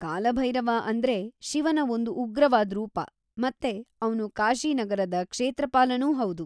ಕಾಲಭೈರವ ಅಂದ್ರೆ ಶಿವನ ಒಂದು ಉಗ್ರವಾದ್ ರೂಪ ಮತ್ತೆ ಅವ್ನು ಕಾಶಿ ನಗರದ ಕ್ಷೇತ್ರಪಾಲನೂ ಹೌದು.